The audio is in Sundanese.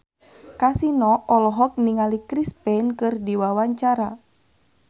Kasino olohok ningali Chris Pane keur diwawancara